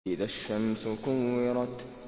إِذَا الشَّمْسُ كُوِّرَتْ